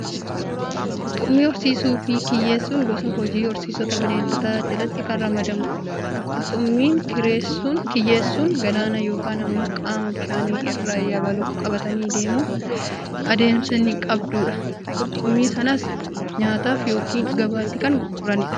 Qurxummii horsiisuu fi kiyyeessuun gosa hojii horsiisa Bineeldota jalatti kan ramadamudha. Qurxummii kiyyeessuun galaana yookaan immoo qaama bishaanii irra yabaloo qabatanii deemuun adamsanii qabduudha. Qurxummii sanas nyaataaf yookaan gabaatti kan gurguranidha.